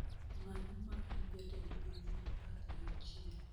Ng'ano ma en jatend piny ma apar gi auchiel